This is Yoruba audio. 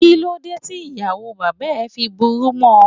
Kíló dé tí ìyàwó bàbá ẹ fi burú mọ?